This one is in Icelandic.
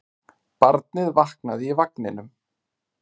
Barnið vaknaði í vagninum.